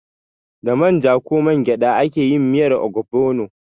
Da manja ko mangyada ake yin miyar ogbono.